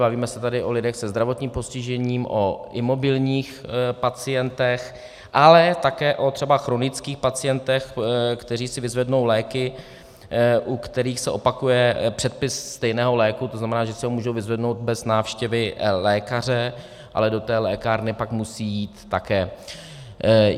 Bavíme se tady o lidech se zdravotním postižením, o imobilních pacientech, ale také třeba o chronických pacientech, kteří si vyzvednou léky, u kterých se opakuje předpis stejného léku, to znamená, že si ho můžou vyzvednout bez návštěvy lékaře, ale do té lékárny pak musí jít také.